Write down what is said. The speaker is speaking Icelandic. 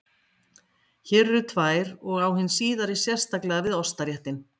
Hér eru tvær og á hin síðari sérstaklega við ostaréttinn.